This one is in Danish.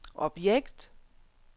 objekt